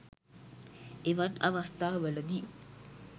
එවන් අවස්ථාවලදී